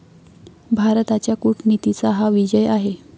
भारताच्या कूटनीतीचा हा विजय आहे.